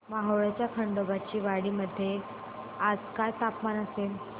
मोहोळच्या खंडोबाची वाडी मध्ये आज काय तापमान असेल